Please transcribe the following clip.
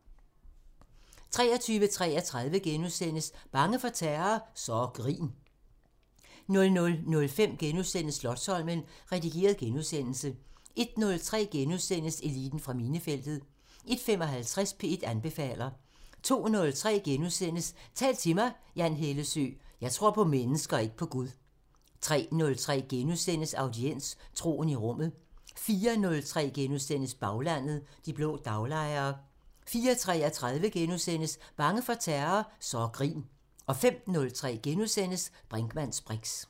23:33: Bange for terror? Så grin * 00:05: Slotsholmen – redigeret genudsendelse * 01:03: Eliten fra minefeltet * 01:55: P1 anbefaler 02:03: Tal til mig – Jan Hellesøe: "jeg tror på mennesker, ikke på Gud" * 03:03: Audiens: Troen i Rummet * 04:03: Baglandet: De blå daglejere * 04:33: Bange for terror? Så grin * 05:03: Brinkmanns briks *